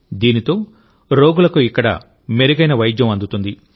దీంతో రోగులకు ఇక్కడ మెరుగైన వైద్యం అందుతుంది